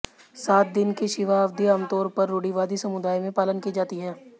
सात दिन की शिवा अवधि आमतौर पर रूढ़िवादी समुदाय में पालन की जाती है